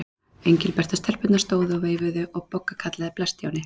Engilbert og stelpurnar stóðu og veifuðu og Bogga kallaði: Bless Stjáni.